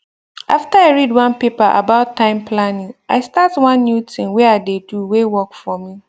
after i read one paper about time planning i start one new thing wey i dey do way work for me